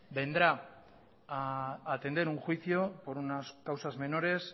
vendrá a atender un juicio por unas causas menores